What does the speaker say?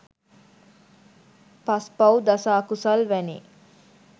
පස්පව්, දස අකුසල් වැනි